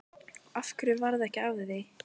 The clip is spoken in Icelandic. Af hverju varð ekki af því?